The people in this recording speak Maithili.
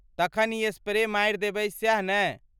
तखन ई स्प्रे मारि देबय सैह नहि?